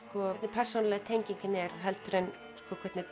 persónulega tengingin er heldur en hvernig